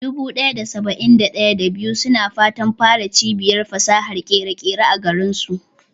Dubu ɗaya da saba'in da ɗaya, da biyu suna fatan fara cibiyar fasahar ƙere-ƙere a garinsu.